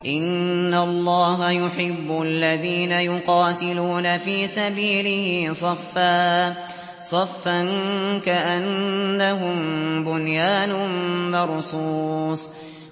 إِنَّ اللَّهَ يُحِبُّ الَّذِينَ يُقَاتِلُونَ فِي سَبِيلِهِ صَفًّا كَأَنَّهُم بُنْيَانٌ مَّرْصُوصٌ